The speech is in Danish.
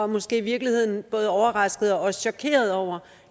måske i virkeligheden er både overraskede og chokerede over